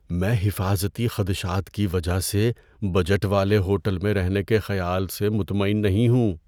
میں حفاظتی خدشات کی وجہ سے بجٹ والے ہوٹل میں رہنے کے خیال سے مطمئن نہیں ہوں۔